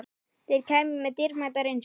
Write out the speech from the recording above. Þeir kæmu með dýrmæta reynslu